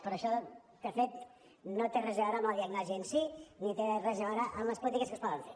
però això de fet no té res a veure amb la diagnosi en sí ni té res a veure amb les polítiques que es poden fer